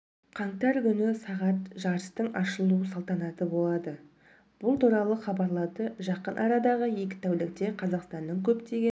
қаңтар күні сағат жарыстың ашылу салатанаты болады бұл туралы хабарлады жақын арадағы екі тәулікте қазақстанның көптеген